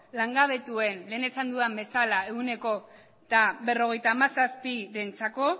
langabetuen lehen esan dudan bezala ehuneko berrogeita hamazazpirentzako